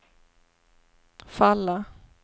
falla